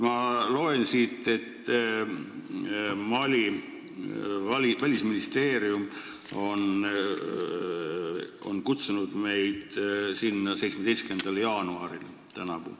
Ma loen siit, et Mali välisministeerium on meid sinna kutsunud tänavu 17. jaanuaril.